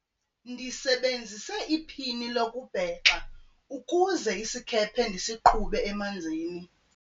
ndisebenzise iphini lokubhexa ukuze isikhephe ndisiqhube emanzini